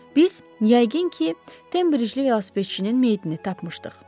Biz yəqin ki, Tembrigli velosipedçinin meydini tapmışdıq.